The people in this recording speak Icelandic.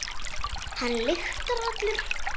Hann lyktar allur.